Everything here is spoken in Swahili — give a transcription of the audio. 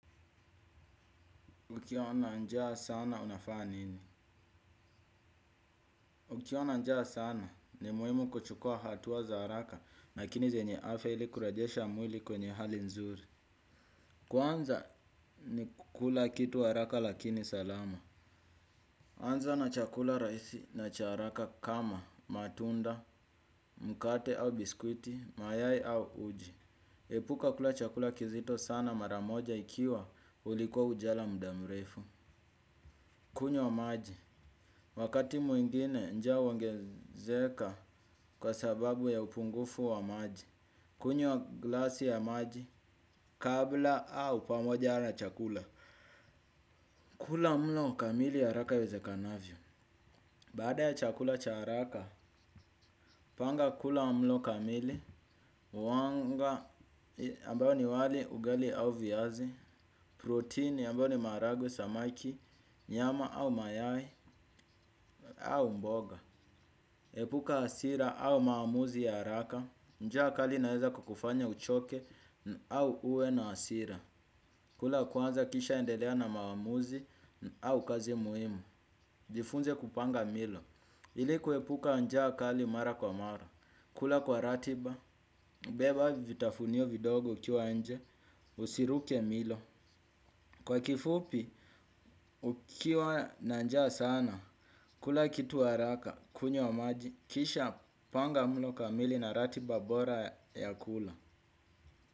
Ukiwa na njaa sana unafaa nini? Ukiwa na njaa sana ni muimu kuchukua hatuwa za haraka lakini zenye afya ili kurajesha mwili kwenye hali nzuri. Kwanza ni kukula kitu haraka lakini salama. Anza na chakula rahisi na cha haraka kama matunda, mkate au biskuti, mayai au uji. Epuka kula chakula kizito sana mara moja ikiwa ulikuwa ujala muda mrefu. Kunywa maji, wakati mwingine njaa huongezeka kwa sababu ya upungufu wa maji. Kunywa glasi ya maji, kabla au pamoja na chakula. Kula mlo kamili haraka iwezekanavyo. Baada ya chakula cha haraka, panga kula mlo kamili. Uwanga, ambayo ni wali ugali au viazi Protein, ambayo ni maharagwe, samaki, nyama au mayai, au mboga. Epuka hasira au maawamuzi ya haraka, njaa kali inaeza kukufanya uchoke au uwe na hasira. Kula kwanza kisha endelea na maamuzi au kazi muhimu. Jifunze kupanga milo. Ili kuepuka njaa kali mara kwa mara. Kula kwa ratiba beba vitafunio vidogo ukiwa nje usiruke milo. Kwa kifupi, ukiwa na njaa sana. Kula kitu haraka, kunywa maji. Kisha panga mlo kamili na ratiba bora ya kula.